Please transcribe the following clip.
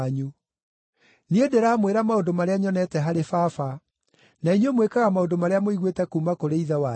Niĩ ndĩramwĩra maũndũ marĩa nyonete harĩ Baba, na inyuĩ mwĩkaga maũndũ marĩa mũiguĩte kuuma kũrĩ ithe wanyu.”